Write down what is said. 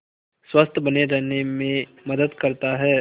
स्वस्थ्य बने रहने में मदद करता है